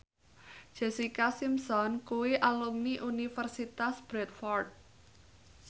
Jessica Simpson kuwi alumni Universitas Bradford